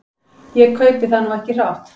Ég kaupi það nú ekki hrátt.